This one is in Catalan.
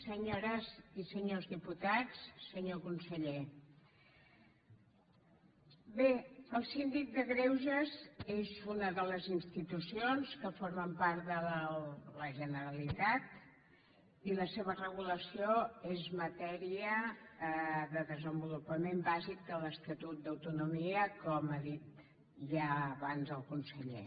senyores i senyors diputats senyor conseller bé el síndic de greuges és una de les institucions que formen part de la generalitat i la seva regulació és matèria de desenvolupament bàsic de l’estatut d’autonomia com ha dit ja abans el conseller